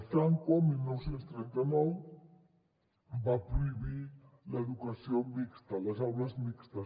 franco el dinou trenta nou va prohibir l’educació mixta les aules mixtes